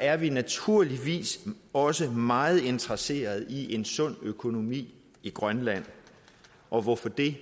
er vi naturligvis også meget interesseret i en sund økonomi i grønland og hvorfor det